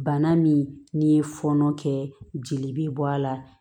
Bana min n'i ye fɔnɔ kɛ jeli bɛ bɔ a la